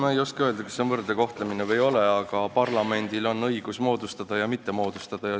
Ma ei oska öelda, kas see on võrdne kohtlemine või ei ole, aga parlamendil on õigus komisjone moodustada ja mitte moodustada.